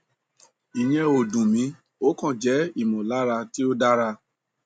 ìyẹn ò dùn mí ó kàn jẹ ìmọlára tí ò dáŕa